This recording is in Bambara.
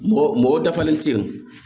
Mɔgɔ mɔgɔ dafalen te yen